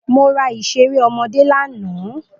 Mo ra ìlédìí ọmọ lánàá.